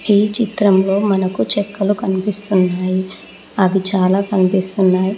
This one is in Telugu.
ఈ చిత్రంలో మనకు చెక్కలు కనిపిస్తున్నాయి అవి చాలా కనిపిస్తున్నాయి.